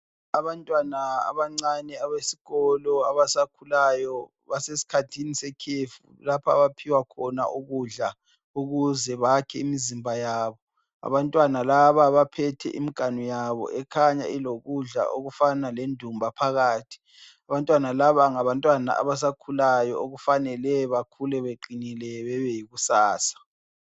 Abantwana abancane abesikolo abasakhulayo basesikhathini sekhefu lapho abaphiwa khona ukudla ukuze bakhe imizimba yabo. Abantwana laba baphethe imiganu yabo ekhanya ilokudla okufana lendumba phakathi. Abantwana laba ngabantwana abasakhulayo okufanele bekhule beqinile bebeyikusasa.